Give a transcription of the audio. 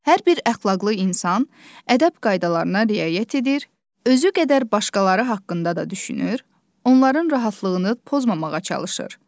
Hər bir əxlaqlı insan ədəb qaydalarına riayət edir, özü qədər başqaları haqqında da düşünür, onların rahatlığını pozmamağa çalışır.